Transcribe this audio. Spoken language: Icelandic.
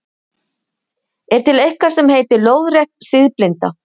Er til eitthvað sem heitir leiðrétt siðblinda?